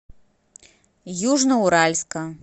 южноуральска